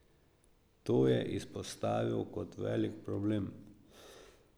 To je izpostavil kot velik problem.